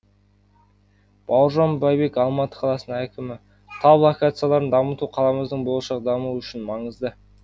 бауыржан байбек алматы қаласының әкімі тау локацияларын дамыту қаламыздың болашақ дамуы үшін маңызды